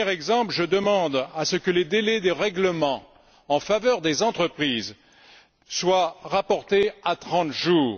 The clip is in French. Premier exemple je demande à ce que les délais des règlements en faveur des entreprises soient rapportés à 30 jours.